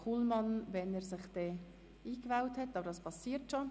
Kullmann gibt diese ab, sobald er sich in die Rednerliste eingewählt hat.